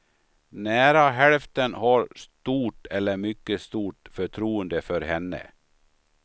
Nära hälften har stort eller mycket stort förtroende för henne.